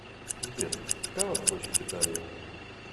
сбер какова площадь италии